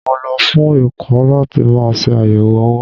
Mo lọ fún ẹ̀kọ́ láti máa ṣe àyẹ̀wò owó.